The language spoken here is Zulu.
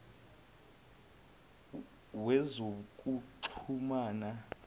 wezokuxhumana